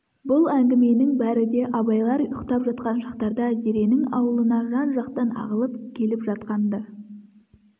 бұл әңгіменің бәрі де абайлар ұйқтап жатқан шақтарда зеренің аулына жан-жақтан ағылып келіп жатқан-ды